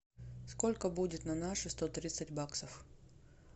сколько будет на наши сто тридцать баксов